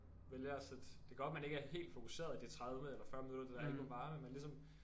Vælger at sætte det kan godt man ikke er helt fokuseret i de 30 eller 40 minutter det der album varer men man ligesom